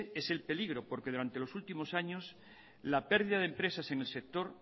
es el peligro porque durante los últimos años la pérdida de empresas en el sector